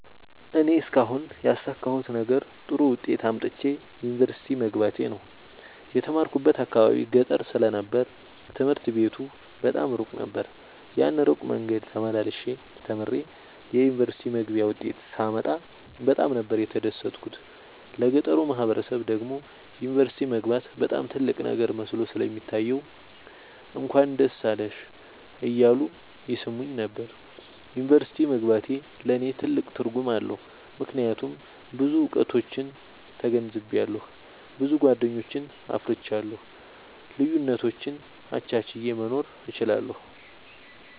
እኔ እስካሁን ያሣካሁት ነገር ጥሩ ዉጤት አምጥቼ ዩኒቨርሲቲ መግባቴ ነዉ። የተማርኩበት አካባቢ ገጠር ስለ ነበር ትምህርት ቤቱ በጣም እሩቅ ነበር። ያን እሩቅ መንገድ ተመላልሸ ተምሬ የዩኒቨርሲቲ መግቢያ ዉጤት ሳመጣ በጣም ነበር የተደሠትኩት ለገጠሩ ማህበረሠብ ደግሞ ዩኒቨርሲቲ መግባት በጣም ትልቅ ነገር መስሎ ስለሚታየዉ እንኳን ደስ አለሽ እያሉ ይሥሙኝ ነበር። ዩኒቨርሢቲ መግባቴ ለኔ ትልቅ ትርጉም አለዉ። ምክያቱም ብዙ እዉቀቶችን ተገንዝቤአለሁ። ብዙ ጎደኞችን አፍርቻለሁ። ልዩነቶችን አቻችየ መኖር እችላለሁ።